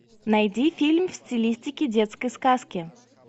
найди фильм в стилистике детской сказки